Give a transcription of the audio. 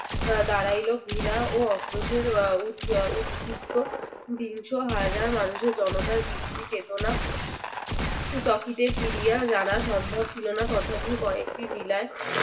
দাঁড়াইল ঘৃণা ও অক্রোশের উট আহ উৎ~ উৎক্ষিপ্ত বিংশ হাজার মানুষের জনতার বৃদ্ধি চেতনা। চকিতে ফিরিয়া জানা সম্ভব ছিল না তথাপি কয়েকটি জিলায়